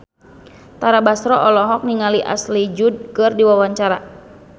Tara Basro olohok ningali Ashley Judd keur diwawancara